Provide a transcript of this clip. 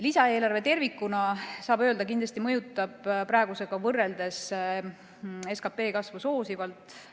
Lisaeelarve tervikuna kindlasti mõjutab praegusega võrreldes SKP kasvu soosivalt.